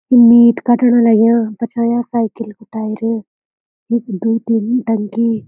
मीट कटण लग्यां पछाऊँ साइकिल कु टायर यख द्वि-तीन टंकी।